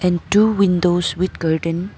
And two windows with curtain.